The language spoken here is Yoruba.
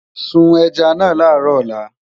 sùn ẹja nà laro òla